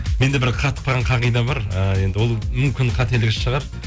менде бір қатып қалған қағида бар ыыы енді ол мүмкін қателік шығар